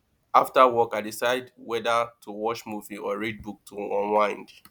after work i decide whether to watch movie or read book to unwind